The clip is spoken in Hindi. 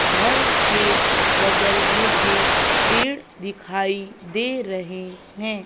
घर के बगल मुझे पेड़ दिखाई दे रहे हैं।